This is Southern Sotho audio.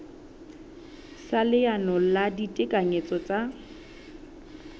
sa leano la ditekanyetso tsa